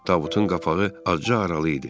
Tabutun qapağı acığı aralı idi.